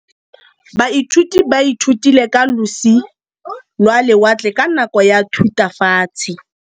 Baithuti ba ithutile ka losi lwa lewatle ka nako ya Thutafatshe.